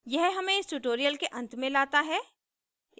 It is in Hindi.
यह हमें इस tutorial के अंत में लाता है